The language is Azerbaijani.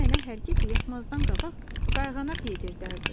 Nənəm mənə hər gecə yatmazdan qabaq qayğanaq yedirtdi.